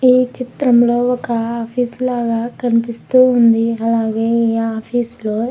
ఈ చిత్రంలో ఒక ఆఫీస్ లాగా కనిపిస్తూ ఉంది. అలాగే ఆఫీస్ లో --